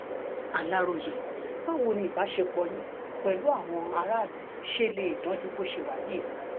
aláròye báwo ni ìbálòpọ̀ àwọn èèyàn yín pẹ̀lú aráàlú ṣe lè dáa ju bó ṣe wà yìí lọ